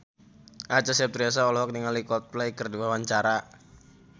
Acha Septriasa olohok ningali Coldplay keur diwawancara